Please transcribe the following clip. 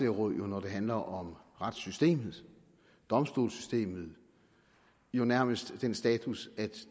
jo når det handler om retssystemet og domstolssystemet nærmest har den status at